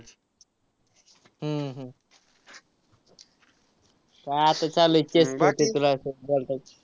हम्म हम्म आता चाललोय तुला call